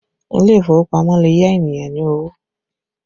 Ile ìfowópamọ́ lè yá ènìyàn ní owó